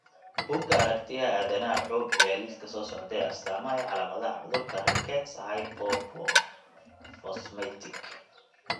Bugga Aaragtiyaha Aadanaha wuxuu bixiyaa liiska soo socda ee astamaha iyo calaamadaha cudurka rickets Hypophosphatemic.